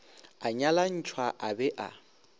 a nyalantšhwa a be a